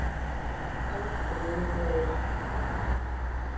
Köld og yfirveguð.